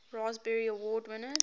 raspberry award winners